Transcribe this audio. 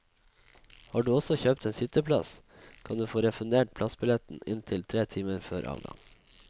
Har du også kjøpt en sitteplass, kan du få refundert plassbilletten inntil tre timer før avgang.